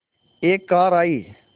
एक कार आई